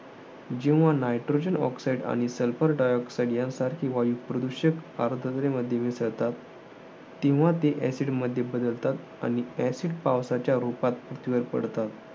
जेव्हा nitrogen oxide आणि sulfur dioxid यांसारखी वाईट प्रदूषके हवेमध्ये मिसळतात. तेव्हा ती acid मध्ये बदलतात. आणि acid पावसाच्या रुपात पृथ्वीवर पडतात.